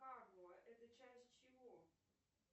это часть чего